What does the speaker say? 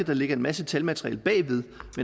der ligger en masse talmateriale bagved